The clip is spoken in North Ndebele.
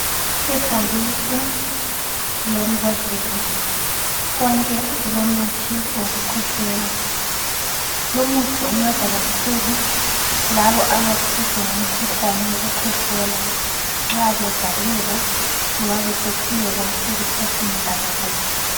Ibhokisi lembodlela konke kulomuthi wokukhwehlela. Lumuthi unceda kakhulu labo abalomkhuhlane wokukhwehlela nxa bevaleka loba besehluleka ukuphefumula kakuhle